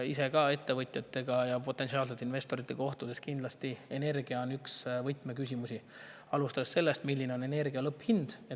Ise olen ka ettevõtjate ja potentsiaalsete investoritega kohtudes, et energia on kindlasti üks võtmeküsimusi, alustades sellest, milline on energia lõpphind.